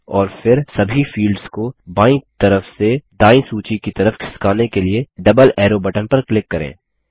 और फिर सभी फील्ड्स को बायीं तरफ से दायीं सूची की तरफ खिसकाने के लिए डबल एरो बटन पर क्लिक करें